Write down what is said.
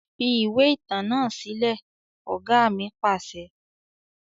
Fi ìwé ìtàn náà sílẹ̀! Ọ̀gá ni pàṣẹ.